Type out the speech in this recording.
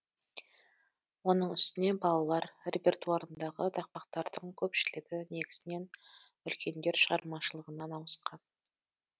оның үстіне балалар репертуарындағы тақпақтардың көпшілігі негізінен үлкендер шығармашылығынан ауысқан